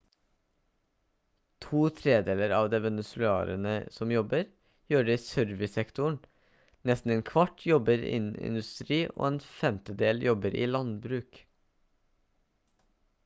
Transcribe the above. to tredeler av de venezuelanerne som jobber gjør det i servicesektoren nesten en kvart jobber innen industri og en femtedel jobber i landbruk